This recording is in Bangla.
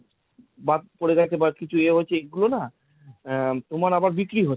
বাদ পড়ে গেছে বা কিছু এ হয়েছে এগুলো না, আহ তোমার আবার বিক্রি হয়।